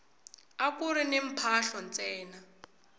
akuri ni mphahlo ntsena